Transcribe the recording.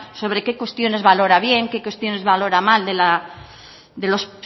sobre qué cuestiones valora bien qué cuestiones valora mal de los